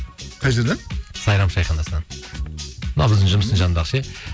қай жерден сайрам шайханасынан мына біздің жұмыстың жанындағы ше